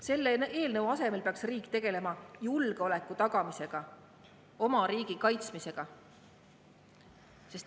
Selle eelnõu asemel peaks riik tegelema julgeoleku tagamisega, oma riigi kaitsmisega.